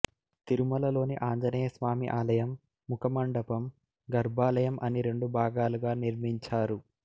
తిరుమల లోని ఆంజనేయస్వామి ఆలయం ముఖ మండపం గర్భాలయం అని రెండు భాగాలుగా నిర్మించారు